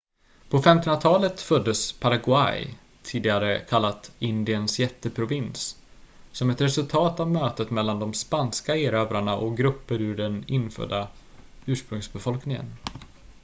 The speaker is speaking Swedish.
"på 1500-talet föddes paraguay tidigare kallat "indiens jätteprovins" som ett resultat av mötet mellan de spanska erövrarna och grupper ur den infödda ursprungsbefolkningen.